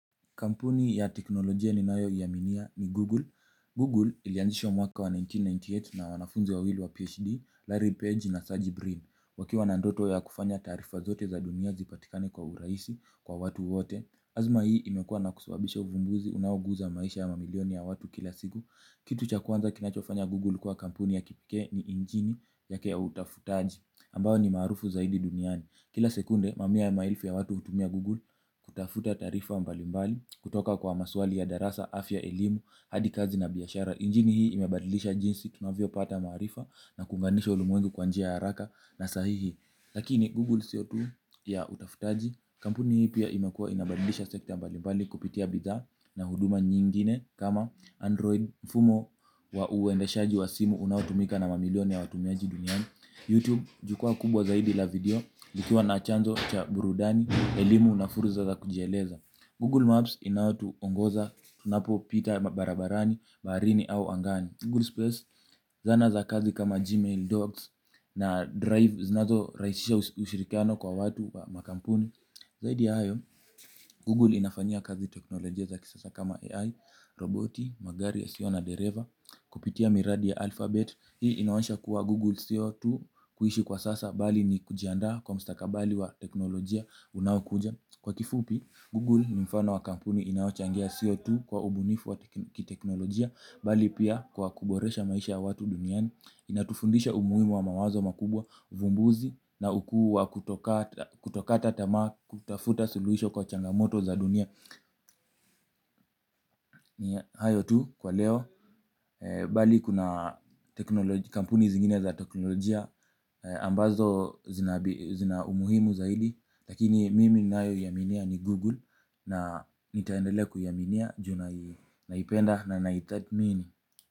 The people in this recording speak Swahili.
Kampuni ya teknolojia ninayoiaminia ni Google. Google ilianzishwa mwaka wa elfu moja na mia tisa na tisini na nane na wanafunze wawili wa PhD, Larry Page na Serge Breen. Wakiwa na ndoto ya kufanya taarifa zote za dunia zipatikane kwa urahisi, kwa watu wote. Azma hii imekua na kusababisha uvumbuzi unaoguza maisha ya mamilioni ya watu kila siku. Kitu cha kwanza kinachofanya Google kwa kampuni ya kipekee ni injini yake ya utafutaji. Ambayo ni maarufu zaidi duniani. Kila sekunde, mamia ya maelfu ya watu hutumia Google kutafuta taarifa mbalimbali, kutoka kwa maswali ya darasa, afya, elimu, hadi kazi na biashara. Injini hii imebadilisha jinsi, tunavyopata maarifa na kuunganisha ulimwengu kwa njia ya haraka na sahihi. Lakini, Google Sio tu ya utafutaji, kampuni hii pia imekuwa inabadilisha sekta mbalimbali kupitia bidhaa na huduma nyingine kama Android, Mfumo wa uendeshaji wa simu unaotumika na mamilion ya watumiaji duniani Youtube jukwaa kubwa zaidi la video likiwa na chanzo cha burudani, elimu na fursa za kujieleza Google Maps inayotuongoza tunapopita barabarani, baharini au angani Google Space zana za kazi kama Gmail, Docs na Drive zinazorahisisha ushirikiano kwa watu wa makampuni. Zaidi ya hayo, Google inafanyia kazi teknolojia za kisasa kama AI, roboti, magari yasiyo na dereva, kupitia miradi ya alphabet. Hii inaonyesha kuwa Google sio tu kuishi kwa sasa bali ni kujiandaa kwa mstakabali wa teknolojia unaokuja. Kwa kifupi, Google ni mfano wa kampuni inayochangia sio tu kwa ubunifu wa kiteknolojia bali pia kwa kuboresha maisha ya watu duniani inatufundisha umuhimu wa mawazo makubwa uvumbuzi na ukuu wa kutokata tamaa kutafuta suluhisho kwa changamoto za dunia ni hayo tu kwa leo bali kuna kampuni zingine za teknolojia ambazo zina umuhimu zaidi lakini mimi ninayoiaminia ni Google na nitaendelea kuiaminia juu naipenda na naitathmini.